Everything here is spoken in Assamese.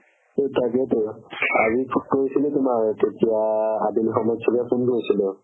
তাকেইতো আজি phone কৰিছিলো তুমাক তেতিয়া আবেলি সময় চ'ৰে phone কৰিছিলো